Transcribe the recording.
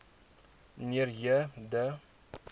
mnr j de